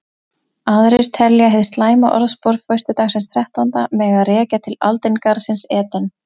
Aðrir telja hið slæma orðspor föstudagsins þrettánda mega rekja til aldingarðsins Eden.